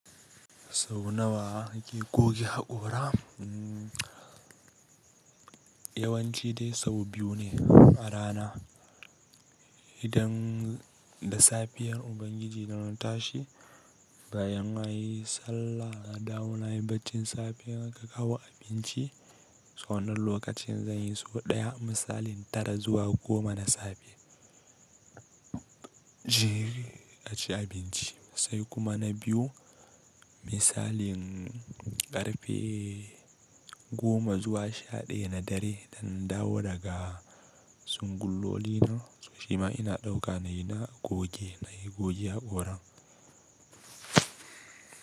Sau nawa nake goge haƙora? Yawanci dai sau biyu ne a rana. Idan da safiyar Ubangiji dana tashi, bayan anyi sallah na dawo nayi baccin safe in aka kawo abinci. So wannan lokacin zan yi sau ɗaya misalin tara zuwa goma na safe jere a ci abinci. Sai kuma na biyu misalin ƙarfe goma zuwa sha-ɗaya na dare idan nadawo daga tsungullolina so cima ina ɗauka nayi na goge, nayi goge haƙoran.